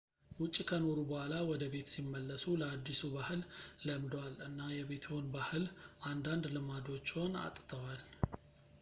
ውጭ ከኖሩ በኋላ ወደቤት ሲመለሱ ለአዲሱ ባህል ለምደዋል እና የቤትዎን ባህል አንዳንድ ልማዶችዎን አጥተዋል